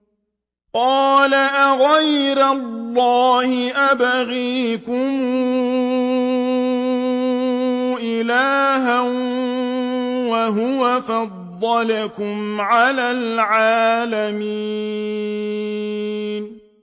قَالَ أَغَيْرَ اللَّهِ أَبْغِيكُمْ إِلَٰهًا وَهُوَ فَضَّلَكُمْ عَلَى الْعَالَمِينَ